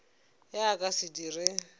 ge a ka se dire